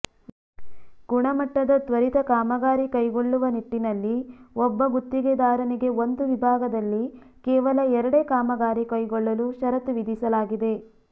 ಗುಣಮಟ್ಟದ ತ್ವರಿತ ಕಾಮಗಾರಿ ಕೈಗೊಳ್ಳುವ ನಿಟ್ಟಿನಲ್ಲಿ ಒಬ್ಬ ಗುತ್ತಿಗೆದಾರನಿಗೆ ಒಂದು ವಿಭಾಗದಲ್ಲಿ ಕೇವಲ ಎರಡೇ ಕಾಮಗಾರಿ ಕೈಗೊಳ್ಳಲು ಷರತ್ತು ವಿಧಿಸಲಾಗಿದೆ